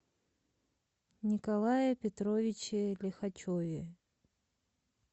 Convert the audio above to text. николае петровиче лихачеве